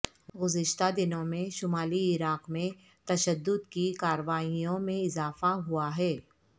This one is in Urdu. گزشتہ دنوں میں شمالی عراق میں تشدد کی کارروائیوں میں اضافہ ہوا ہے